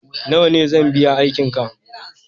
nawa ne zan biya aiki ka